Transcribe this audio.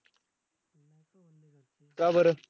का बरं?